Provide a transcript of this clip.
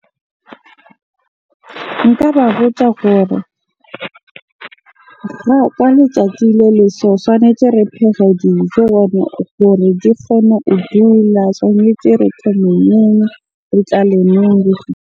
Nka ba botsa gore ka letsatsi le le so, tshwanetse re phege dijo hore di kgone ho . Tshwanetse re .